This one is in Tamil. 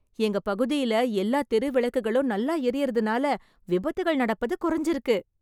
எங்க பகுதியில எல்லா தெரு விளக்குகளும் நல்லா எரியறதுனால விபத்துகள் நடப்பது கொறஞ்சிருக்கு.